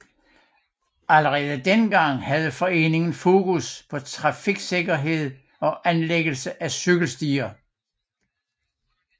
Allerede dengang havde foreningen fokus på trafiksikkerhed og anlæggelse af cykelstier